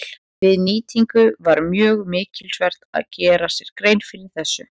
Við nýtingu var mjög mikilsvert að gera sér grein fyrir þessu.